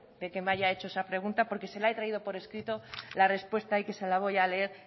que me haya hecho esa pregunta porque se lo he traído por escrito la respuesta y que se la voy a leer